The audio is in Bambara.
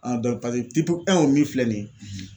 o min filɛ nin ye